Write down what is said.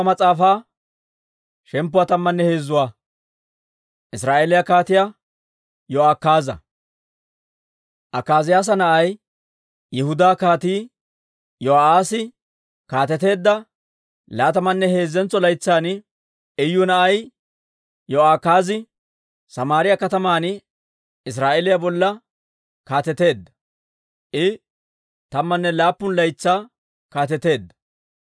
Akaaziyaasa na'ay, Yihudaa Kaatii Iyo'aassi kaateteedda laatamanne heezzentso laytsan, Iyu na'ay Iyo'akaazi Samaariyaa kataman Israa'eeliyaa bolla kaateteedda; I tammanne laappun laytsaa kaateteedda.